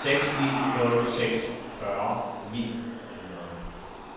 seks ni nul seks fyrre ni hundrede